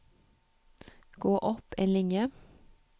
Gå opp en linje